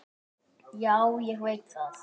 Já, ég veit það